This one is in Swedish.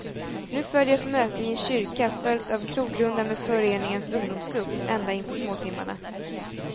Nu följer ett möte i en kyrka, följt av krogrunda med föreningens ungdomsgrupp, ända in på småtimmarna.